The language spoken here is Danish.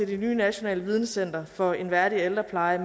det nye nationale videnscenter for en værdig ældrepleje